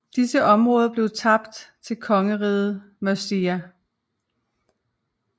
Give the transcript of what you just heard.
Disse området blev tabt til kongeriget Mercia